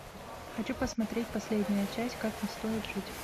хочу посмотреть последняя часть как не стоит жить